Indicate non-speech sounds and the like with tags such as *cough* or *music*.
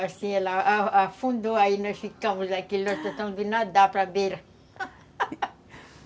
Assim, ela a afundou, aí nós ficamos aqui, *gasps* nós tentamos nadar para beira *laughs*